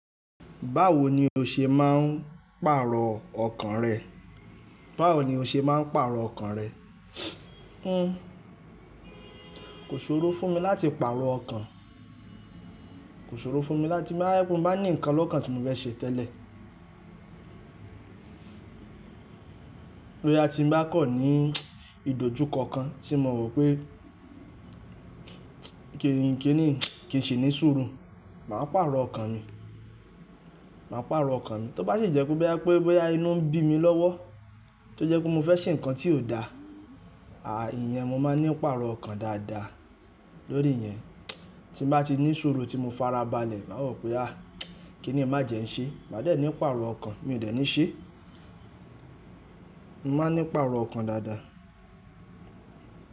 Báwo ni o ṣe máa ń pàrọ̀ ọkàn rẹ? Báwo ni o ṣe máa ń pàrọ̀ ọkàn rẹ? Kò ṣòro fún mi láti pàrọ̀ ọkàn, kò ṣòro fún mi láti, bí mo bá ní nnkan lọ́kàn tí mo fẹ́ ṣe tẹ́lẹ̀. Boya ti ń bá kọ̀ ní ìdójú kankan tí mo ropé kíni, kíni, kìí ṣe ní ṣuuru, màá pàrọ̀ ọkàn mi, màá pàrọ̀ ọkàn mi. Tó bá sì jẹ́ kó pé bí i pé inú ń bí mi lọ́wọ́, tó jẹ́ pé mo fẹ́ ṣe nǹkan tí ò da, à íyẹn mo máa ní pàrọ̀ ọkàn dáadáa lórí yẹn. Tí mo bá ti ní ṣuuru, tí mo farabalẹ̀, màá wo pé àh kín ni májẹ̀ n ṣe? Màá dẹ̀ ní pàrọ̀ ọkàn, mi ò dẹ̀ ní ṣé. Mo máa ní ipàrọ̀ ọkàn dáadáa.